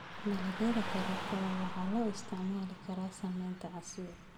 Dalagyada karootada waxaa loo isticmaali karaa sameynta casiir.